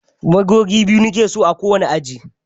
Magogi biyu nike so a ko wani aji.